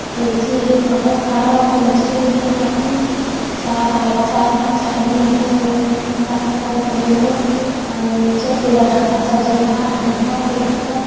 एक औरत खड़ी होकर मछली देख रही है | चार-पांच आदमी आपस में बात कर रहे हैं | निचे पूरा डब्बा सजा हुआ है |